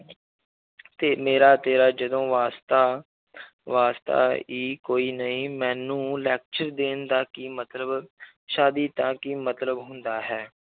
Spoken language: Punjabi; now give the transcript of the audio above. ਤੇ ਮੇਰਾ ਤੇਰਾ ਜਦੋਂ ਵਾਸਤਾ ਵਾਸਤਾ ਹੀ ਕੋਈ ਨਹੀਂ ਮੈਨੂੰ lecture ਦੇਣ ਦਾ ਕੀ ਮਤਲਬ ਸ਼ਾਦੀ ਦਾ ਕੀ ਮਤਲਬ ਹੁੰਦਾ ਹੈ,